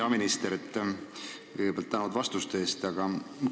Hea minister, kõigepealt tänan vastuste eest!